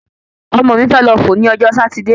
Ọmọ mi fe lọ fọ ni ọjọ́ Sátidé